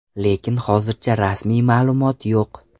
Lekin hozircha rasmiy ma’lumot yo‘q.